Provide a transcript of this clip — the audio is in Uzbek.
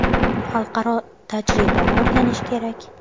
Xalqaro tajribani o‘rganish kerak.